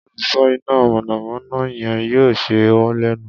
Oluso ina mọnamọna yẹn yoo ṣe ọ lẹnu